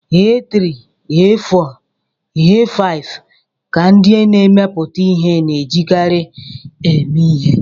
A3, A4 na A5 ka ndị na-emepụta ihe na-ejikarị eme ihe.